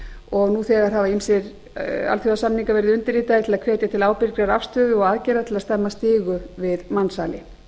og nú þegar hafa ýmsir alþjóðasamningar verið undirritaðir til að hvetja til ábyrgrar afstöðu og aðgerða til að stemma stigu við mansali